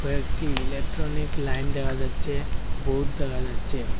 ও একটি electronic line দেখা যাচ্ছে বোর্ড দেখা যাচ্ছে।